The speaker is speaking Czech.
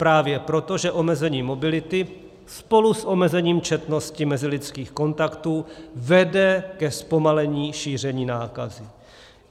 Právě proto, že omezení mobility spolu s omezením četnosti mezilidských kontaktů vede ke zpomalení šíření nákazy.